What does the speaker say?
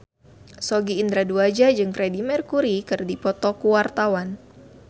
Sogi Indra Duaja jeung Freedie Mercury keur dipoto ku wartawan